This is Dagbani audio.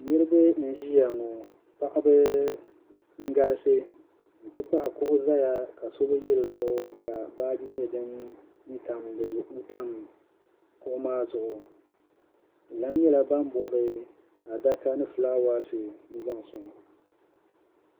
Niriba n-ʒiya ŋɔ paɣiba n-galisi nti pahi kuɣu zaya ka so bi ʒi di zuɣu ka Baaji nyɛ din tam kuɣu maa zuɣu bɛ lan nyɛla ban bɔbi adaka ni fulaawaasi n-zaŋ sɔŋ